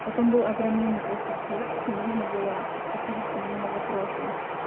потом был огроменный просто тексте нужно было ответить по нему на вопросы